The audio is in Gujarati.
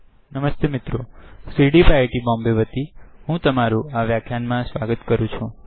નમસ્તે મિત્રો સીડીઇઇપી આઇઆઇટી Bombayતરફથી હું તમારું આ વ્યાખ્યાન માં સ્વાગત કરું છુ